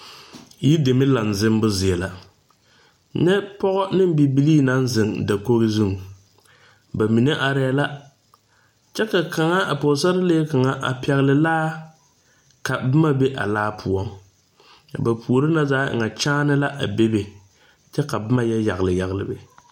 Yir dɛme laŋ zimbu zie la. Nyɛ pɔgɔ ne bibilii naŋ zeŋ dakoge zu. Ba mene areɛ la. Kyɛ ka kanga, a pɔgɔsarlee kanga a pɛgle laa ka boma be a laa poʊ. Ka ba poore na zaa e ŋa kyaane la a bebe. Kyɛ ka boma yɔ yagle yagle a be.